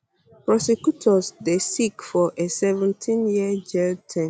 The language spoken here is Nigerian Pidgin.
prosecutors dey seek for a seventeen year jail term